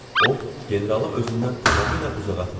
O, generalı özündən tamamilə uzağa atmışdı.